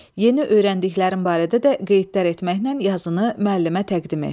Yeni öyrəndiklərin barədə də qeydlər etməklə yazını müəllimə təqdim et.